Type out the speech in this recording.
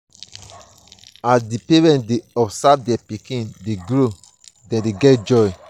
as di parent dey observe their pikin dey grow dem dey get joy